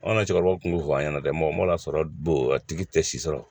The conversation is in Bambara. An ka cɛkɔrɔba kun m'o fɔ an ɲɛna dɛ mɔgɔ sɔrɔ bo a tigi tɛ si sɔrɔ.